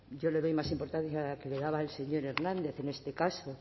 yo le doy más importancia que la que le daba el señor hernández en este caso